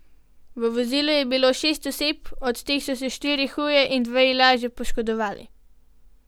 V vozilu je bilo šest oseb, od teh so se štiri huje in dve lažje poškodovali.